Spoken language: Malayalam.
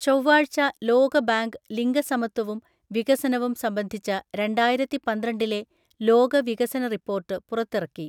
ചൊവ്വാഴ്ച ലോകബാങ്ക് ലിംഗസമത്വവും വികസനവും സംബന്ധിച്ച രണ്ടായിരത്തിപന്ത്രണ്ടിലെ ലോക വികസന റിപ്പോർട്ട് പുറത്തിറക്കി.